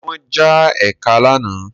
Ṣé wọ́n já ẹkẹ lánàá?